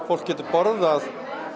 fólk getur borðað